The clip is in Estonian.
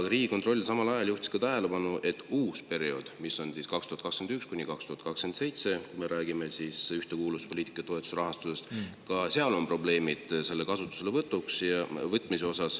Riigikontroll juhtis samal ajal tähelepanu ka sellele, et ka uue perioodi puhul – mis on 2021–2027, kui me räägime ühtekuuluvuspoliitika toetuste rahastusest –, on probleeme selle kasutuselevõtuga.